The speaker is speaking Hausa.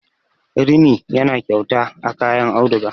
rini yana kyauta a kayan auduga